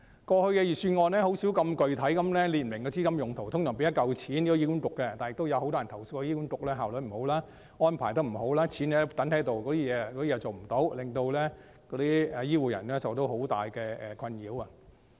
過去的預算案甚少這麼具體地列明資金用途，通常是撥出一筆款項予醫院管理局，但也有很多人投訴醫管局效率不高，安排不周，只將錢存放着，甚麼也沒有做，令醫護人員受到很大困擾。